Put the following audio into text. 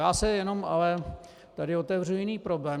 Já se jenom ale - tady otevřu jiný problém.